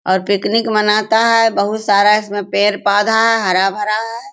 और पिकनिक मनाता है बहुत सारा इसमें पेड़-पौधा है हरा-भरा है।